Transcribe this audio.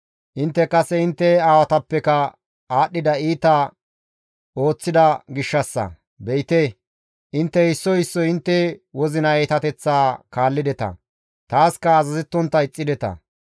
intte kase intte aawatappeka aadhdhida iita ooththida gishshassa; be7ite; intte issoy issoy intte wozina iitateththaa kaallideta; taaska azazettontta ixxideta.